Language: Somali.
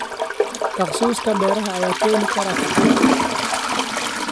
Takhasuska beeraha ayaa keeni kara kacaan.